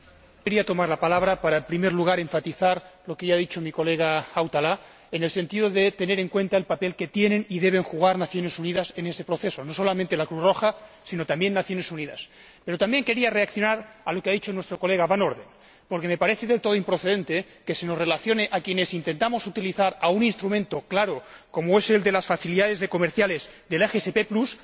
Señor Presidente, quería tomar la palabra para, en primer lugar, enfatizar lo que ya ha dicho mi colega Hautala hay que tener en cuenta el papel que tienen y deben desempeñar las Naciones Unidas en ese proceso, no solamente la Cruz Roja, sino también las Naciones Unidas. Pero también quería reaccionar a lo que ha dicho nuestro colega Van Orden, porque me parece del todo improcedente que se nos tilde a quienes intentamos utilizar un instrumento claro, como es el de las facilidades comerciales del SGP Plus,